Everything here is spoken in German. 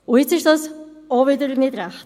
Und das ist auch wieder nicht recht.